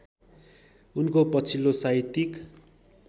उनको पछिल्लो साहित्यिक